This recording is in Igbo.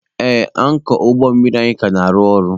Ee, ankọọ ụgbọ mmiri anyị ka na-arụ ọrụ.